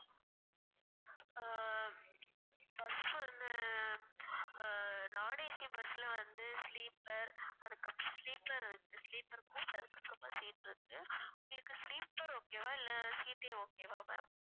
ஆஹ் bus வந்து ah non AC bus ல வந்து sleeper அதுக்கப்~ sleeper வந்து sleeper seat இருக்கு உங்களுக்கு sleeper okay வா இல்லை seat ஏ okay வா ma'am